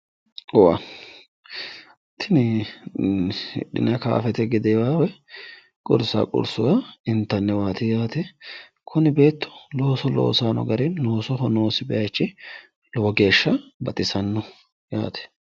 tini hidhine kaaffete gedeewa woyi qursa qursuwa intaniwaati yaate kuni beettu looso loosanni noo gari loosoho noosi bayiichi lowo geeshsha baxisannoho yaate.